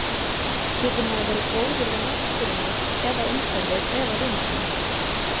Getur maður verið góður við náttúruna eða umhverfið eða vini sína?